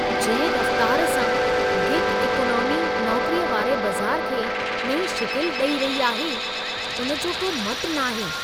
जंहिं रफ़तार सां गिग इकोनॉमी नौकरीअ वारे बज़ार खे नईं शिकिल ॾई रही आहे, उन जो को मटु न आहे।